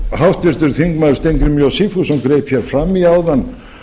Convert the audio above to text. háttvirtur þingmaður steingrímur j sigfússon greip hér fram í áðan